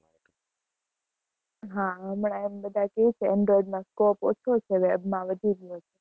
હા, હમણાં એમ બધાય કે છે, android માં scope ઓછો છે, web માં વધુ ગયો છે.